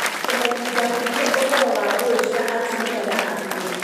Kumenyithia mũingĩ uhoro wa ngũi cia atumia na athuri